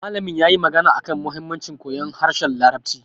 Malamin yayi magana akan muhimmancin koyon harshen larabci